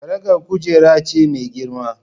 Karagar kujera ce mai girma.